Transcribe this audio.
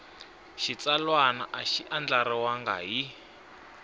xitsalwana a xi andlariwangi hi